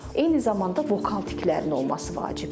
Eyni zamanda vokal tiklərin olması vacibdir.